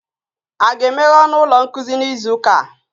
A ga-emeghe ọnụ ụlọ nkuzi n'izu ụka?